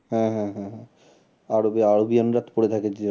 হ্যাঁ হ্যাঁ হ্যাঁ হ্যাঁ আরবে আরোবিয়ানরা পরে থাকে যে